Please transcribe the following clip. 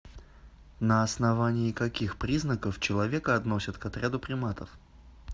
на основании каких признаков человека относят к отряду приматов